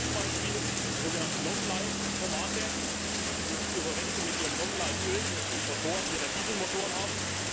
Zweites Beispiel Die sogenannte Longlife Tomate, nicht zu verwechseln mit Ihrem Longlife Öl, das Sie in Ihren Dieselmotoren haben.